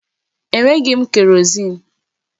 Enweghị m kerọzin